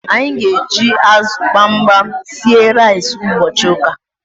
Anyi g'eji azu gbamgbam sie rice ubochi uka